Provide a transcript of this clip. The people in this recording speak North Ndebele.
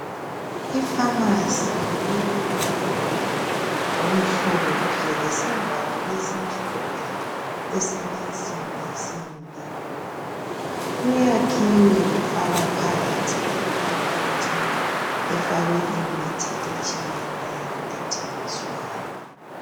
Ifamasi ilomduli omhlophe lesivalo esimhlophe esilensimbinsimbi. Kuyakhiwe kwafakwa phakathi ikhabothi efakwe imithi etshiyeneyo ethengiswayo.